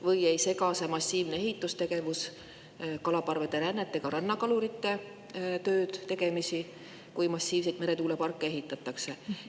Või ei sega see massiivne ehitustegevus kalaparvede rännet ega rannakalurite tööd-tegemisi, kui massiivseid meretuuleparke ehitatakse?